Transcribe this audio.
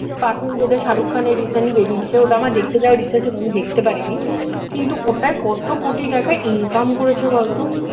পাঠান যেটা শাহরুখ খানের recent বেরিয়েছে ওটা আমার দেখতে যাওয়ার ইচ্ছা ছিল আমি দেখতে পারিনি কিন্তু ওটা কত কোটি টাকা Income করেছে বলতো